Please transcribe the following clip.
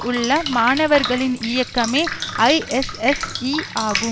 உள்ள மாணவர்களின் இயக்கமே ஐஎஸ்எஸ்இ ஆகும்